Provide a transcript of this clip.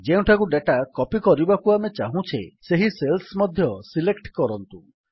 ଯେଉଁଠାକୁ data copy କରିବାକୁ ଆମେ ଚାହୁଁଛେ ସେହି ସେଲ୍ସ ମଧ୍ୟ ସିଲେକ୍ଟ କରନ୍ତୁ